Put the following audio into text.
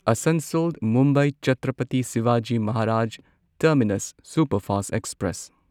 Asansol Mumbai Chhatrapati Shivaji Maharaj terminus superfast express